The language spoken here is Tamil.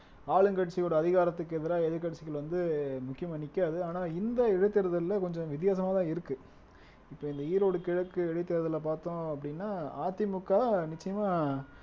ஆளுங்கட்சியோட அதிகாரத்துக்கு எதிரா எதிர்க்கட்சிகள் வந்து முக்கியமா நிக்காது ஆனா இந்த இடைத்தேர்தல்ல கொஞ்சம் வித்தியாசமாதான் இருக்கு இப்ப இந்த ஈரோடு கிழக்கு இடைத்தேர்தல்ல பார்த்தோம் அப்படின்னா அதிமுக நிச்சயமா